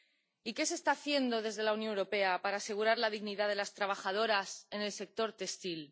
Y ¿qué se está haciendo desde la Unión Europea para asegurar la dignidad de las trabajadoras en el sector textil?